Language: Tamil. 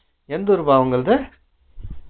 எந்த ஊருப்பா அவங்கழுது